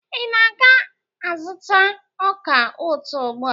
Ị na-aga azụta ọka ụtọ ugbua?